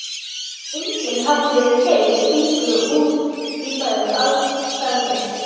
Enginn hafði fett fingur út í þær aðferðir.